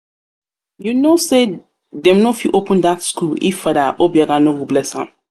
you no know say dem no fit open dat school if father obiagha no go bless am?